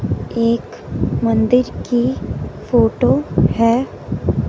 एक मंदिर की फोटो है।